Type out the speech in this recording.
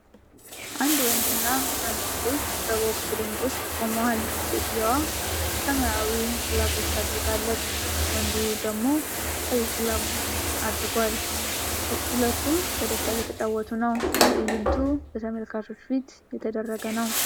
አንድ ወንድ እና አንድ ሴት በቦክስ ሪንግ ውስጥ ቆመዋል። ሴትየዋ ሰማያዊ ግሎቩች አድርጋለች፤ ወንዱ ደግሞ ቀይ ግሎቩች ለብሷል። ሁለቱም በደስታ እየተጫወቱ ነው። ትዕይንቱ በተመልካቾች ፊት የተደረገ ነው።